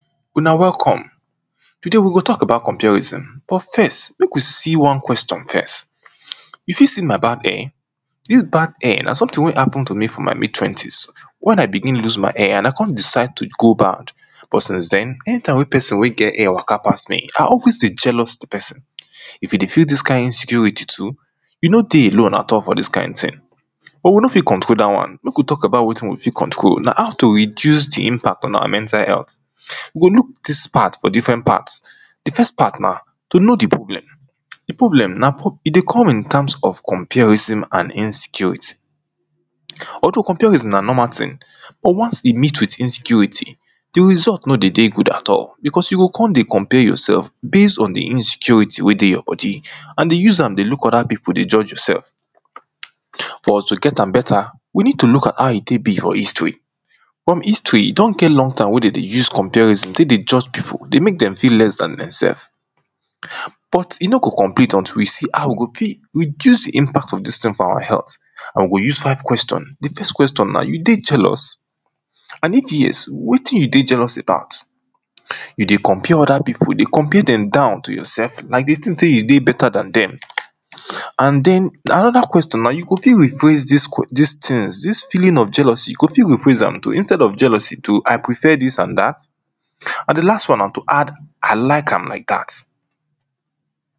una welcome, today we go tok about comparison. but first, mek we see one question first, you fit see my bard hair, dis bald hair na someting wey happen to me for my mid-twenties, wen i begin loose my hair and i con decide to go bald, but since den, anytime wey person wey get hair waka pass me, i always dey jealous the person, if you dey feel dis kind insecurity too, you no dey alone at all for dis kind ting. but we no fit control dat one, mek we tok about wetin we fit control, na how to reduce the impact on our mental health. we look dis part from different parts, the first part na, to know the problem. the problem na, e dey come in times of comparison and insecurity. although comparison na normal ting, but once e meet with insecurity, the result no de dey good at all because, you go con dey compare yoursef, base on the insecurity wey dey your body and dey use am dey look other pipo dey judge yoursef. for us to get am better, we need to look how e tey be for history, from history e don get long time wey de dey use comparison tek dey judge pipo, dey mek dem feel less dan dem sef, but e no go compete until we see how we go fit, reduce impact of dis ting for awa health, or we use five question. the first question na, you dey jealous? and if yes, wetin you dey jealous about? you dey compare other pipo, you dey compare dem down to yourself, like you dey think sey you dey better dan dem. and den, another question na, you go fit rephrase dis, dis tings, dis feeling of jealousy, you go fit rephrase am to instead of jealousy to i prefer dis and dat? and the last one na to add, i like am like dat.